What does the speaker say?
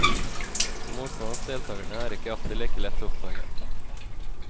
Motstand hos deltakerne er ikke alltid like lett å oppdage.